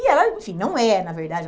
E ela, enfim, não é, na verdade.